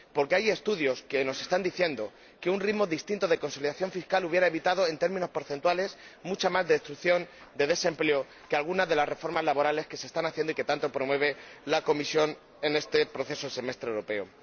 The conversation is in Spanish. Porque hay estudios que nos están diciendo que un ritmo distinto de consolidación fiscal hubiera evitado, en términos porcentuales, mucha más destrucción de empleo que algunas de las reformas laborales que se están haciendo y que tanto promueve la Comisión en este proceso de semestre europeo.